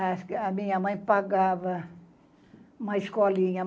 a a minha mãe pagava uma escolinha.